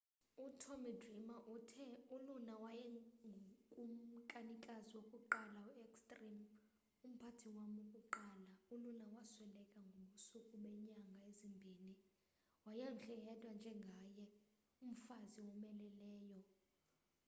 utommy dreamer uthe uluna wayengukumkanikazi wokuqala we-extreme umphathi wam wokuqala uluna wasweleka ngobusuku beenyanga ezimbini wayemhle yedwa njengaye umfazi owomeleleyo